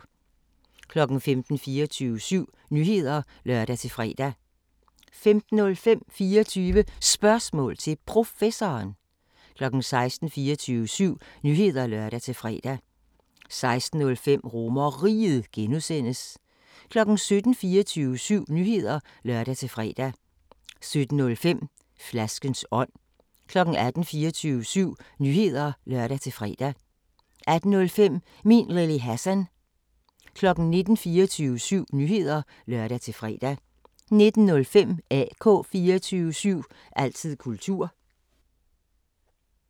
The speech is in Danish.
15:00: 24syv Nyheder (lør-fre) 15:05: 24 Spørgsmål til Professoren 16:00: 24syv Nyheder (lør-fre) 16:05: RomerRiget (G) 17:00: 24syv Nyheder (lør-fre) 17:05: Flaskens ånd 18:00: 24syv Nyheder (lør-fre) 18:05: Min Lille Hassan 19:00: 24syv Nyheder (lør-fre) 19:05: AK 24syv – altid kultur